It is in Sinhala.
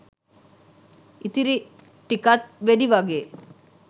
ඉතිරි ටිකත් වෙඩි වගේ